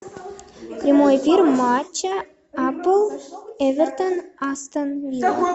прямой эфир матча апл эвертон астон вилла